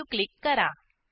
Saveक्लिक करा